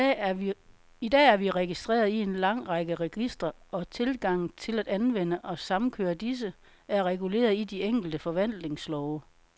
I dag er vi registreret i en lang række registre, og tilgangen til at anvende og samkøre disse, er reguleret i de enkelte forvaltningslove.